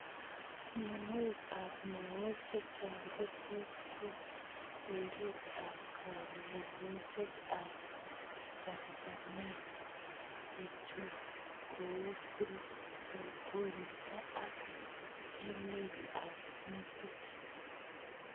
Mionwek ap mook chechang ko tos kon teret ap kangungset ak chamchamet, chechu kou koristo ak amet ap metit.